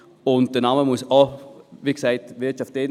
Die Wirtschaft muss wie gesagt im Namen vorkommen.